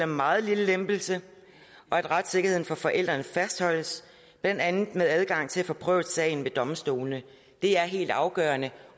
meget lille lempelse og at retssikkerheden for forældrene fastholdes blandt andet med adgang til at få prøvet sagen ved domstolene det er helt afgørende